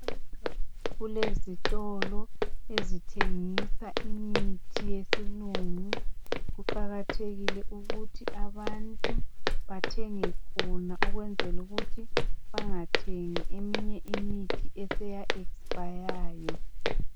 Kulezitolo ezithengisa imithi yesilungu, kuqakathekile ukuthi abantu bathenge khona ukwenzela ukuthi bangathengi eminye imithi eseya expayayo